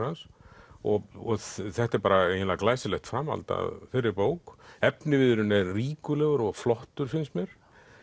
hans og þetta er bara eiginlega glæsilegt framhald af þeirri bók efniviðurinn er ríkulegur og flottur finnst mér